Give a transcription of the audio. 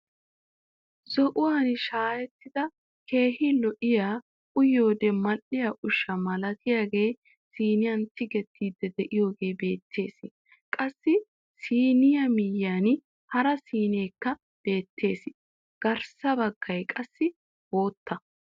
Zo"uwaan shaayettida keehi lo"iyaa uyiyoode mal"iyaa ushsha milatiyaagee siniyaan tigiidi de'iyoogee beettees. Qassi siniyaa miyiyaan hara sineekka beettees. garssa baggay qassi bootta.